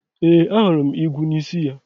Ee, ahụrụ m igwu n'isi ya.